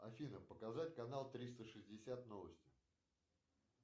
афина показать канал триста шестьдесят новости